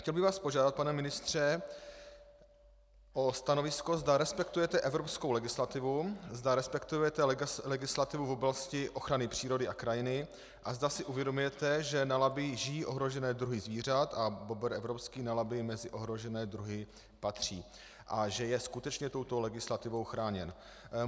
Chtěl bych vás požádat, pane ministře, o stanovisko, zda respektujete evropskou legislativu, zda respektujete legislativu v oblasti ochrany přírody a krajiny a zda si uvědomujete, že na Labi žijí ohrožené druhy zvířat a bobr evropský na Labi mezi ohrožené druhy patří a že je skutečně touto legislativou chráněn.